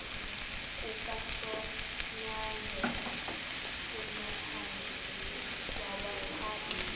kukasonyangwe uncaphayi wawaphatha